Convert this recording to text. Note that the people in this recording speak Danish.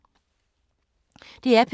DR P2